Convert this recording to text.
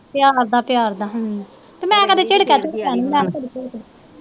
ਪਿਆਰ ਦਾ ਪਿਆਰ ਦਾ ਅਹ ਤੇ ਮੈ ਕਦੇ ਚਿੜਕੇਆ ਚੂੜਕੇਆ ਨੀ